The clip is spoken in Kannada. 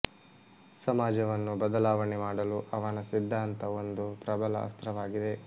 ಸಮಾಜವನ್ನು ಬದಲಾವಣೆ ಮಾಡಲು ಅವನ ಸಿದ್ಧಾಂತ ಒಂದು ಪ್ರಬಲ ಅಸ್ತ್ರವಾಗಿದೆ